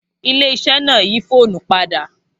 Ilé iṣẹ́ náà yí fóònù padà